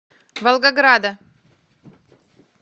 волгограда